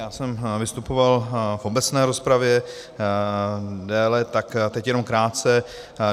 Já jsem vystupoval v obecné rozpravě déle, tak teď jenom krátce.